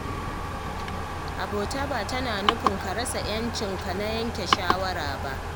Abota ba tana nufin ka rasa ‘yancinka na yanke shawara ba.